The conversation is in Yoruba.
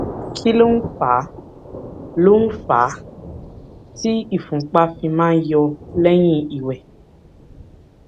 kí ló ń fà ló ń fà á tí ìfúnpá fi máa ń yọ lẹyìn ìwè